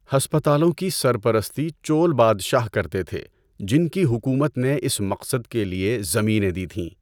ہسپتالوں کی سرپرستی چول بادشاہ کرتے تھے، جن کی حکومت نے اس مقصد کے لیے زمینیں دی تھیں۔